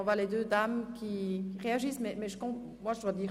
Somit kommen wir zu dem Einzelsprechenden.